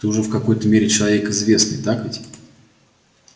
ты уже в какой-то мере человек известный так ведь